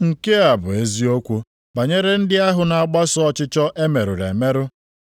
Nke a bụ eziokwu banyere ndị ahụ na-agbaso ọchịchọ emerụrụ emerụ